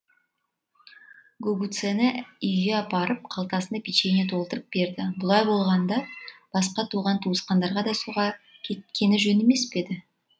гугуцэні үйге апарып қалтасына печенье толтырып бердібұлай болғанда басқа туған туысқандарға да соға кеткені жөн емес пе